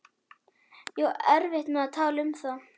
Ég á erfitt með að tala um það.